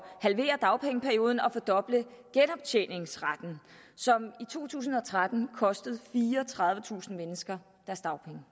halvere dagpengeperioden og fordoble genoptjeningsretten som i to tusind og tretten kostede fireogtredivetusind mennesker deres dagpenge